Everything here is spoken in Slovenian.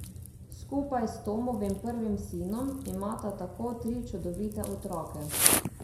Skupaj s Tomovim prvim sinom imata tako tri čudovite otroke.